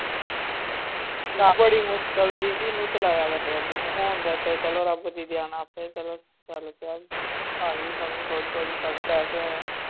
ਬੜੀ ਮੁਸਕਲ ਦੀਦੀ ਇਹਨੂੰ ਚਲਾਇਆ ਵੈਸੇ ਅਬੂ ਨੂੰ ਹੁਣ ਦਾ ਤੇ ਚਲੋ ਰੱਬ ਦੀ ਦਇਆ ਨਾਲ ਆਪੇ ਚਲੋ ਚੱਲ ਪਿਆ, ਆ ਗਈ ਸਮਝ ਥੋੜ੍ਹੀ ਥੋੜ੍ਹੀ ਪੜ੍ਹਨ ਲੱਗ ਪਿਆ ਆ।